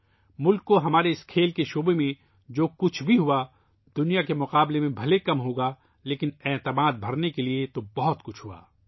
ملک کے لئے ، کھیل کی اس دنیا میں ، جو کچھ ہوا ، دنیا کے مقابلے بھلے ہی کم ہو لیکن یقین کرنے کے لئے بہت کچھ ہوا ہے